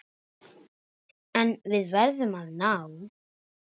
En við verðum að ná